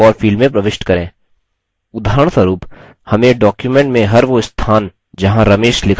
उदाहरणस्वरुप हमें document में हर वो स्थान जहाँ ramesh लिखा है वो खोजना है